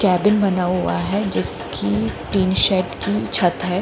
Cabin बना हुआ है जिसकी टिन शेड की छत है।